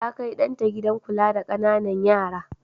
Ta kai ɗan ta gidan kula da ƙananan yara.